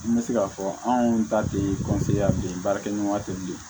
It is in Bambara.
N bɛ se k'a fɔ anw ta tɛ baarakɛɲɔgɔn tɛ yen bilen